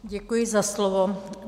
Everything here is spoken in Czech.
Děkuji za slovo.